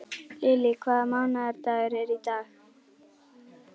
Lily, hvaða mánaðardagur er í dag?